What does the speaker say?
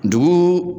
Dugu